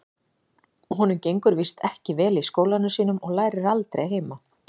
Honum gengur víst ekki vel í skólanum sínum og lærir aldrei heima.